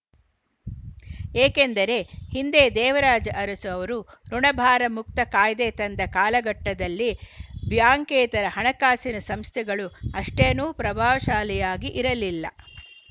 ಏಕೆಂದರೆ ಹಿಂದೆ ದೇವರಾಜ ಅರಸು ಅವರು ಋುಣಭಾರ ಮುಕ್ತ ಕಾಯ್ದೆ ತಂದ ಕಾಲಘಟ್ಟದಲ್ಲಿ ಬ್ಯಾಂಕೇತರ ಹಣಕಾಸಿನ ಸಂಸ್ಥೆಗಳು ಅಷ್ಟೇನೂ ಪ್ರಭಾವಶಾಲಿಯಾಗಿ ಇರಲಿಲ್ಲ